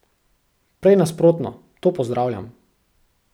Prej nasprotno, to pozdravljam.